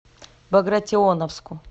багратионовску